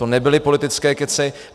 To nebyly politické kecy.